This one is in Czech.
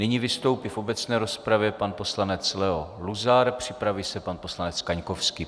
Nyní vystoupí v obecné rozpravě pan poslanec Leo Luzar, připraví se pan poslanec Kaňkovský.